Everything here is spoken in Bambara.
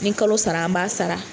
Ni kalo sara an b'a sara.